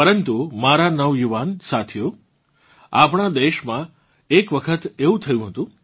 પરંતુ મારા નવયુવાન સાથિયો આપણાં દેશમાં એકવખત આવું થયું હતું